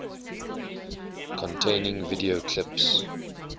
containing video clips